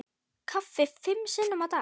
Kaffi fimm sinnum á dag.